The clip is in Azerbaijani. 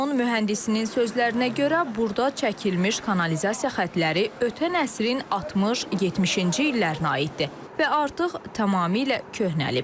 Qurumun mühəndisinin sözlərinə görə burda çəkilmiş kanalizasiya xəttləri ötən əsrin 60-70-ci illərinə aiddir və artıq tamamilə köhnəlib.